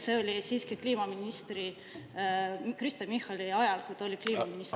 See oli siiski sel ajal, kui Kristen Michal oli kliimaminister.